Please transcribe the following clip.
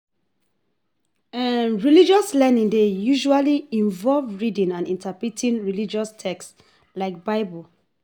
Religious learning dey usually involve reading and interpreting religious text like Bible